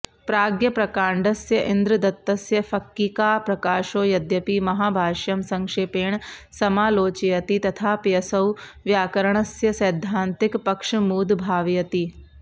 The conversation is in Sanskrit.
प्राज्ञप्रकाण्डस्य इन्द्रदत्तस्य फक्किकाप्रकाशो यद्यपि महाभाष्यं संक्षेपेण समालोचयति तथाप्यसौ व्याकरणस्य सैद्धान्तिक पक्षमूदभावयति